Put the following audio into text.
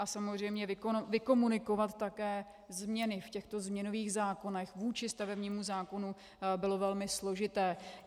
A samozřejmě vykomunikovat také změny v těchto změnových zákonech vůči stavebnímu zákonu bylo velmi složité.